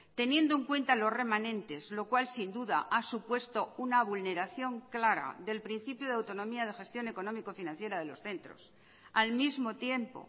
teniendo en cuenta los remanentes lo cual sin duda ha supuesto una vulneración clara del principio de autonomía de gestión económico financiera de los centros al mismo tiempo